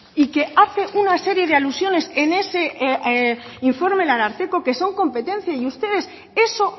y que hace una serie de alusiones en ese informe el ararteko que son competencia y ustedes eso